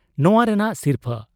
ᱱᱚᱣᱟ ᱨᱮᱱᱟᱜ ᱥᱤᱨᱯᱷᱟᱹ ᱾